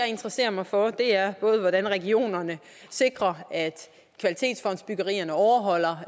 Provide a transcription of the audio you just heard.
interesserer mig for er hvordan regionerne sikrer at kvalitetsfondsbyggerierne overholder